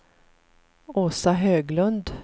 Åsa Höglund